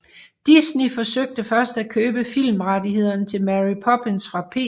Disney forsøgte først at købe filmrettghederne til Mary Poppins fra P